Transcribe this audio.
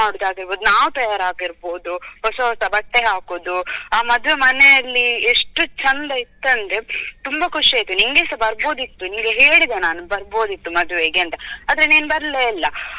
ನಾವ್ ತಯಾರಾಗಿರ್ಬೋದು ಹೊಸ ಹೊಸ ಬಟ್ಟೆ ಹಾಕುದು ಅ ಮದ್ವೆ ಮನೆಯಲ್ಲಿ ಎಷ್ಟು ಚಂದ ಇತ್ತಂದ್ರೆ ತುಂಬ ಖುಷಿ ಆಯ್ತು ನಿನ್ಗೆಸ ಬರ್ಬೋದಿತ್ತು ನಿನ್ಗೆ ಹೇಳಿದೆ ನಾನು ಬರ್ಬೋದಿತ್ತು ಮದ್ವೆಗೆ ಅಂತ ಆದ್ರೆ ನೀನು ಬರ್ಲೇ ಇಲ್ಲ.